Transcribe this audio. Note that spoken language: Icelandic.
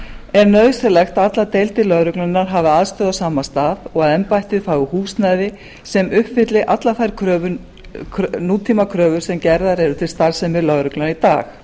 er nauðsynlegt að allar deildir lögreglunnar hafi aðstöðu á sama stað og embættið fái húsnæði sem uppfylli allar þær nútímakröfur sem gerðar eru til starfsemi lögreglunnar í dag